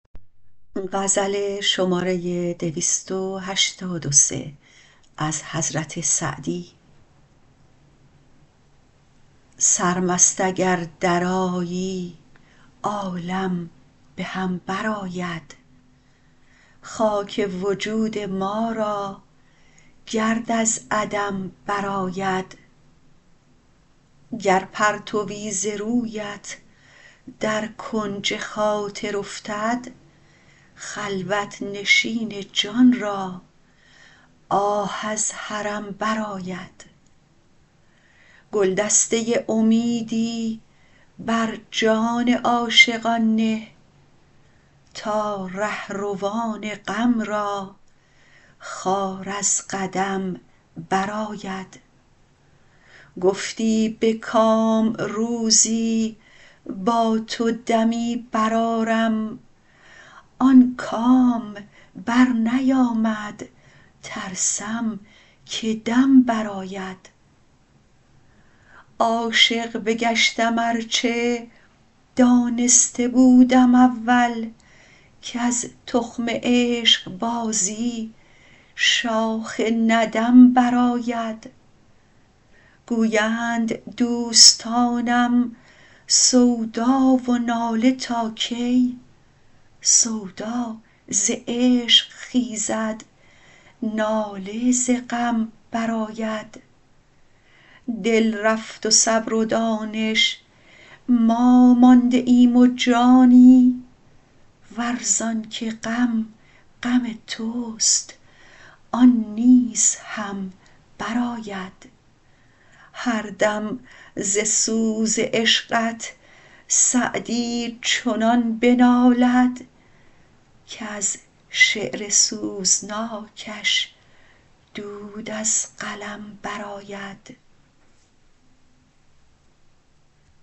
سرمست اگر درآیی عالم به هم برآید خاک وجود ما را گرد از عدم برآید گر پرتوی ز رویت در کنج خاطر افتد خلوت نشین جان را آه از حرم برآید گلدسته امیدی بر جان عاشقان نه تا رهروان غم را خار از قدم برآید گفتی به کام روزی با تو دمی برآرم آن کام برنیامد ترسم که دم برآید عاشق بگشتم ار چه دانسته بودم اول کز تخم عشقبازی شاخ ندم برآید گویند دوستانم سودا و ناله تا کی سودا ز عشق خیزد ناله ز غم برآید دل رفت و صبر و دانش ما مانده ایم و جانی ور زان که غم غم توست آن نیز هم برآید هر دم ز سوز عشقت سعدی چنان بنالد کز شعر سوزناکش دود از قلم برآید